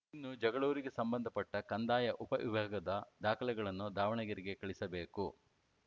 ಇನ್ನು ಜಗಳೂರಿಗೆ ಸಂಬಂಧ ಪಟ್ಟಕಂದಾಯ ಉಪವಿಭಾಗದ ದಾಖಲೆಗಳನ್ನು ದಾವಣಗೆರೆಗೆ ಕಳಿಸಬೇಕು